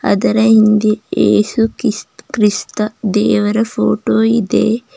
ಅದರ ಹಿಂದೆ ಏಸು ಕಿಸ್ ಕ್ರಿಸ್ತ ದೇವರ ಫೋಟೋ ಇದೆ.